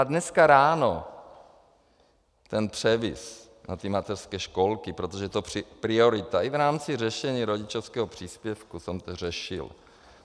A dneska ráno ten převis na ty mateřské školky, protože to je priorita, i v rámci řešení rodičovského příspěvku jsem to řešil.